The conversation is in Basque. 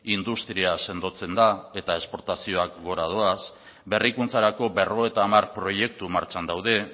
industria sendotzen da eta esportazioak gora doaz berrikuntzarako berrogeita hamar proiektu martxan daude